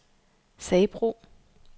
Sabro